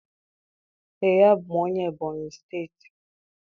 Ee, abụ m onye Ebonyị steeti